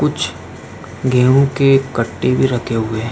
कुछ गेंहू के कट्टे भी रखे हुए हैं।